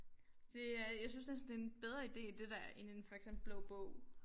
Det er jeg synes næsten det en bedre ide det der end en for eksempel blå bog